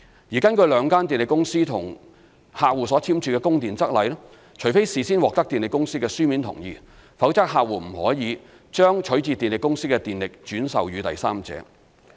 而根據兩間電力公司與客戶所簽署的《供電則例》，除非事先獲得電力公司的書面同意，否則客戶不得把取自電力公司的電力轉售予第三者。